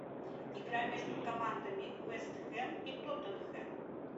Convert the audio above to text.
игра между командами вест хэм и тоттенхэм